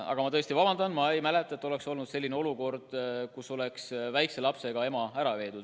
Aga ma tõesti vabandan, ma ei mäleta, et oleks olnud selline olukord, kus oleks väikese lapsega ema ära viidud.